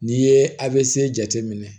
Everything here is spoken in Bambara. N'i ye avc jateminɛ